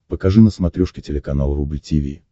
покажи на смотрешке телеканал рубль ти ви